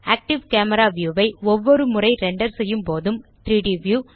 active camera view ஐ ஒவ்வொருமுறை render செய்யும் போதும் 3ட் வியூ